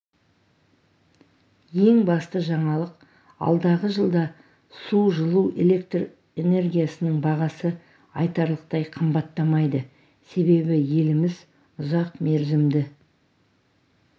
ең басты жаңалық алдағы жылда су жылу электр энергиясының бағасы айтарлықтай қымбаттамайды себебі еліміз ұзақ мерзімді